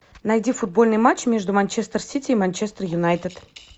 найди футбольный матч между манчестер сити и манчестер юнайтед